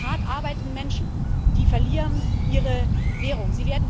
Die hart arbeitenden Menschen, die verlieren ihre Währung.